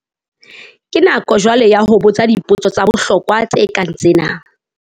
Ke nako jwale ya ho botsa dipotso tsa bohlokwa tse kang tsena!